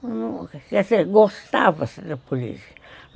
Quer dizer, gostava-se da política.